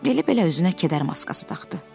Belə-belə üzünə kədər maskası taxdı.